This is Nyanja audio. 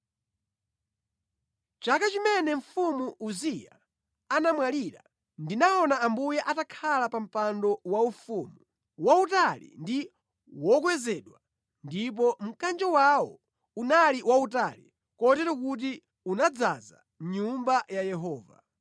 Chaka chimene mfumu Uziya anamwalira, ndinaona Ambuye atakhala pa mpando waufumu, wautali ndi wokwezedwa, ndipo mkanjo wawo unali wautali; kotero kuti unadzaza mʼNyumba ya Yehova.